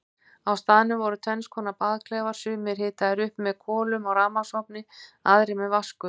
Á staðnum voru tvennskonar baðklefar, sumir hitaðir upp með kolum á rafmagnsofni, aðrir með vatnsgufu.